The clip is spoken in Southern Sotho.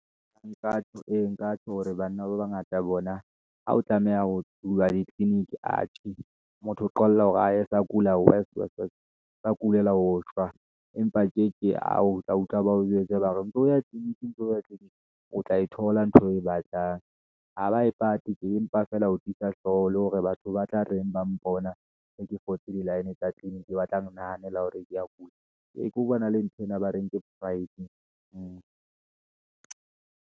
Nka tjho, ee nka tjho hore banna ba bangata bona, ha o tlameha ho huwa ditliliniki, motho o qolla hore ae a ka kula wese, wese, wese, sa kulelwa ho shwa, empa a ke a o tla utlwa ba o jwetsa hore o ntso ya tliliniki, o tla e thola ntho eo o e batlang, ha ba e patetse tje, empa feela ho tiisa hlooho, le hore batho ba tla reng ba mpona, se ke fotse di-line tsa tliliniki, batla nahanela hore ke ya kula, ke ho bona le ntho ena ba reng ke pride.